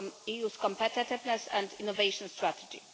EU's competitiveness and innovation strategy.